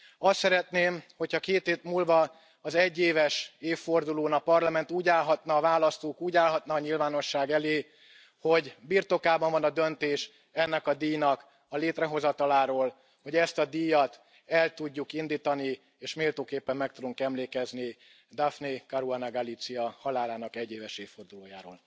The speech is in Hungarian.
Azt szeretném, hogy ha két hét múlva, az egyéves évfordulón a Parlament úgy állhatna a választók, úgy állhatna a nyilvánosság elé, hogy birtokában van a döntés ennek a díjnak a létrehozataláról, hogy ezt a díjat el tudjuk indítani és méltóképpen meg tudunk emlékezni Daphne Caruana Galizia halálának egyéves évfordulójáról.